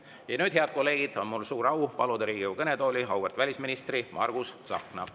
Ja nüüd, head kolleegid, on mul suur au paluda Riigikogu kõnetooli auväärt välisministri Margus Tsahkna.